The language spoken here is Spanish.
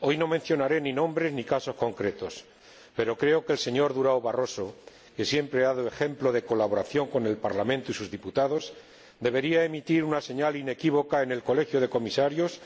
Hoy no mencionaré ni nombres ni casos concretos, pero creo que el señor Durão Barroso —que siempre ha dado ejemplo de colaboración con el Parlamento y sus diputados— debería emitir una señal inequívoca en el Colegio de Comisarios